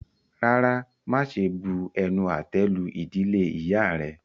Rárá, máṣe bu-ẹnu-àtẹ́-lu ìdílé ìyá rẹ.